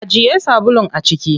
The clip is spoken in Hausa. Ajiye sabulun a ciki.